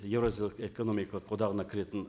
еуразиялық экономикалық одағына кіретін